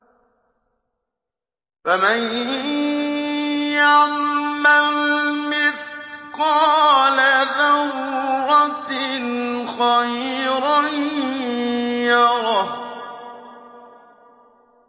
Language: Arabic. فَمَن يَعْمَلْ مِثْقَالَ ذَرَّةٍ خَيْرًا يَرَهُ